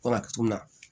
Ko laturu min na